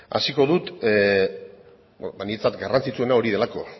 hasiko dut niretzat garrantzitsuena hori delako